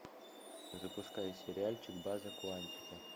запускай сериальчик база куантико